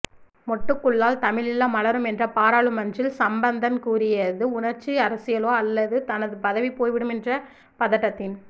மொட்டுக்குள்ளால் தமிழீழம் மலரும் என்று பாராளுமன்றில் சம்பந்தன் கூறியது உணர்ச்சி அரசியலோ அல்லது தனது பதவி போய்விடும் என்ற பதட்டத்தின்